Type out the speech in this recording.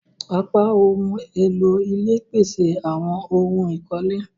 Apá ohùn èlò ilé pese awon ohun ikole.